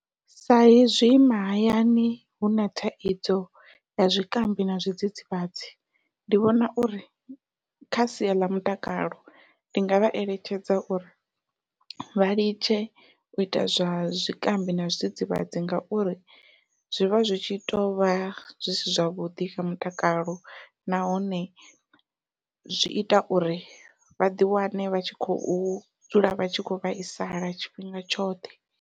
Saizwi mahayani huna thaidzo ya zwikambi na zwidzidzivhadzi, ndi vhona uri kha sia ḽa mutakalo ndi nga vha eletshedza uri vha litshe u ita zwa zwikambi na zwidzidzivhadzi ngauri zwivha zwi tshi tovha zwi si zwavhuḓi kha mutakalo nahone zwi ita uri vha ḓi wane vha tshi khou dzula vha tshi kho vhaisala tshifhinga tshoṱhe.